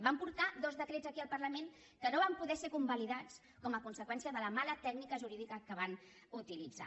van portar dos decrets aquí al parlament que no van poder ser convalidats com a conseqüència de la mala tècnica jurídica que van utilitzar